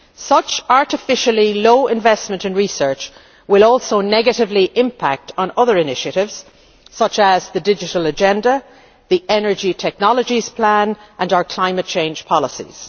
jobs. Such artificially low investment in research will also negatively impact on other initiatives such as the Digital Agenda, the energy technologies plan and our climate change policies.